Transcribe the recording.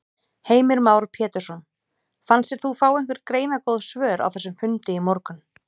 Heimir Már Pétursson: Fannst þér þú fá einhver greinargóð svör á þessum fundi í morgun?